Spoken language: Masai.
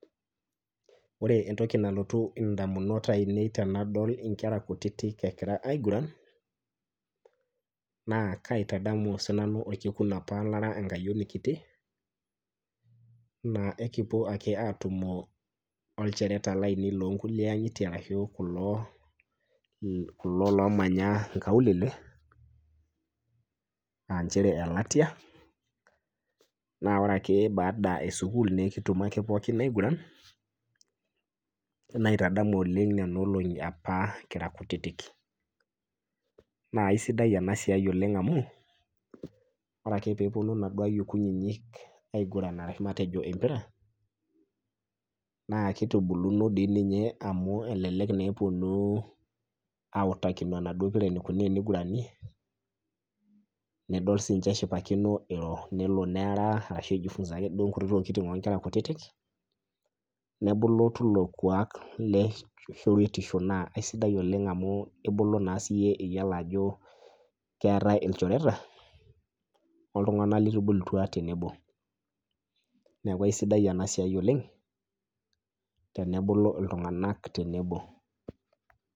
Ore entoki nalotu ndamunot ainei tenadol nkera kutitik egira aiguran, na kaitadamu sii nanu orkekun apa lara enkayioni kiti naa ekiponu ake etumo ilchoreta lainei loo nkulie angitie ashu kulo oomanya nkaulele aa chere elatia ,ore ake baadae esukul nikitumo aigura naitadamu oleng nena olongi apa kira kutitik, naa isidan ena siai oleng amu ,ore ake pee eppnu naduo ayiok kutitik aiguran empira naa kitubuluno doi ninye amu elelek eponu autakino enaduo pira enikoni tenigurani nelo nidol eeta ashu ejifunsa duake nkuti tokiting onkera kutitik, nebulu tilo kuak leshoretisho naa sidai oleng amu ibulu naa siiyie iyiolo ajo keetae ilchoreta oltunganak litubulutua tenebo. neeku aisidai ina siai oleng tenebulu iltunganak tenebo.